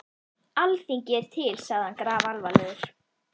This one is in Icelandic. Alþingi er til, sagði hann grafalvarlegur.